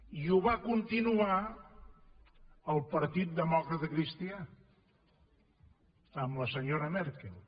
i ho va continuar el partit democratacristià amb la senyora merkel